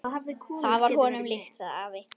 Það var honum líkt, sagði afi.